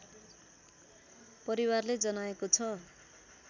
परिवारले जनाएको छ